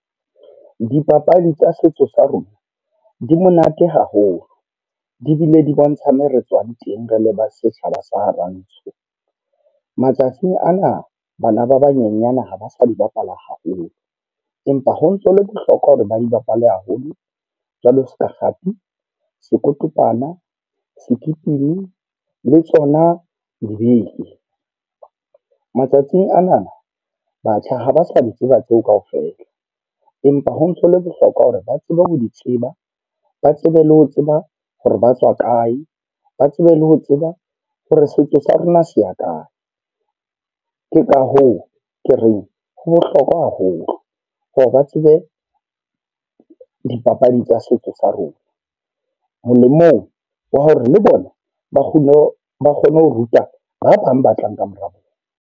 Dipapadi tsa setso sa rona, di monate haholo. Di bile di bontsha me re tswang teng rele ba setjhaba sa ha Rantsho. Matsatsing ana bana ba banyenyane ha ba sa di bapala haholo. Empa ho ntso hole bohlokwa hore ba di bapale haholo. Jwalo seka kgathi, sekotompana, sekipini, le tsona dibeke. Matsatsing anana batjha ha ba sa di tseba tseo kaofela. Empa ho ntsho le bohlokwa hore ba tsebe ho di tseba, ba tsebe le ho tseba hore ba tswa kae, ba tsebe le ho tseba hore setso sa rona se ya kae. Ke ka hoo ke reng ho bohlokwa haholo hore ba tsebe dipapadi tsa setso sa rona. Molemong wa hore le bona, ba kgone ho ba kgone ho ruta ba bang ba tlang kamora bona.